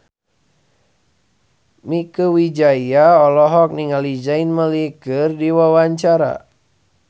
Mieke Wijaya olohok ningali Zayn Malik keur diwawancara